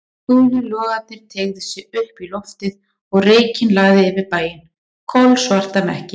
Gulir logarnir teygðu sig upp í loftið og reykinn lagði yfir bæinn, kolsvarta mekki.